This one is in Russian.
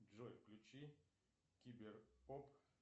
джой включи киберпоп